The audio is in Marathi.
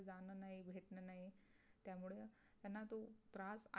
तियाना जो तरास आहे